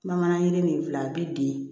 Bamanankan yiri ni fila a bɛ den